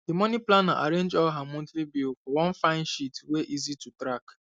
the money planner arrange all her monthly bill for one fine sheet wey easy to track